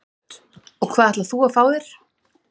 Hödd: Og hvað ætlar þú að fá þér?